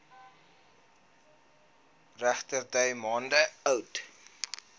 regterdy maande oud